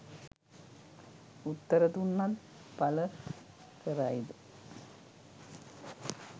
උත්තර දුන්නත් පල කරයිද